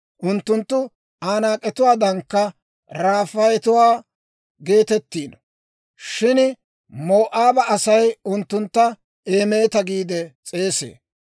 Unttunttu Anaak'etuwaadankka Rafaayetuwaa geetettiino. Shin Moo'aaba Asay unttuntta Eemeta giide s'eesee.